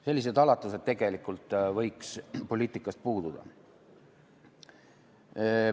Sellised alatused võiks tegelikult poliitikast puududa.